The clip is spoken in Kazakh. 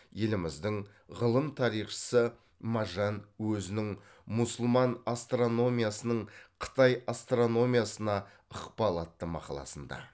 еліміздің ғылым тарихшысы мажань өзінің мұсылман астрономиясының қытай астрономиясына ықпалы атты мақаласында